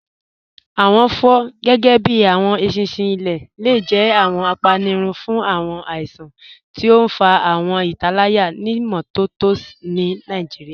Awọn fọ, gẹgẹbi awọn èṣinṣin ilẹ̀, le jẹ̀ awọn àpánírùn fun awọn àìsàn, tí o n fà awọn ìtálàyà imọtọ̀tọ̀ ni Nigeria.